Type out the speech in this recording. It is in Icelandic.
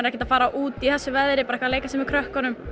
ekkert að fara út í þessu veðri að leika sér með krökkunum